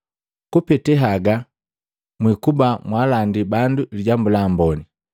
kupete haga mwiikuba mwaalandii bandu Lijambu la Amboni.